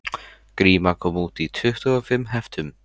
Gríma kom út í tuttugu og fimm heftum